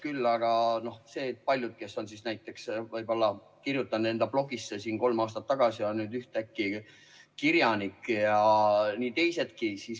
Küll aga paljud, kes näiteks kirjutasid enda blogi kolm aastat tagasi, on nüüd ühtäkki kirjanikud, ja nii on teistegagi.